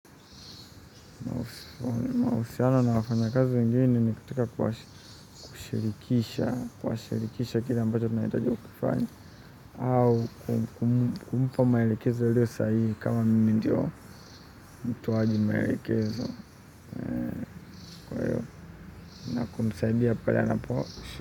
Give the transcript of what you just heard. Mahusiano na wafanya kazi wengine ni katika kuwa kushirikisha kuwashirikisha kile ambacho tunahitajika kufanya. Au kumpa maelekezo yaliyo sahihi kama mimi ndio, mtoaji maelekezo. Kwahiyo ninapomsaidia pale anapo,